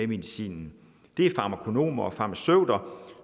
medicinen det er farmakonomer og farmaceuter